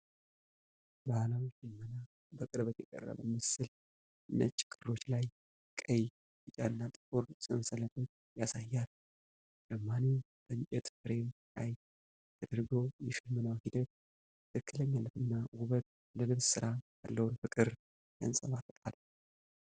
ባህላዊ ሽመና በቅርበት የቀረበ ምስል ነጭ ክሮች ላይ ቀይ፣ ቢጫና ጥቁር ሰንሰለቶች ያሳያል። ሹማኔው በእንጨት ፍሬም ላይ ተደርጎ፣ የሽመናው ሂደት ትክክለኛነትና ውበት ለልብስ ሥራ ያለውን ፍቅር ያንፀባርቃል።